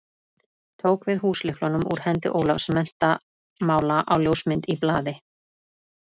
Tók við húslyklunum úr hendi Ólafs menntamála á ljósmynd í blaði.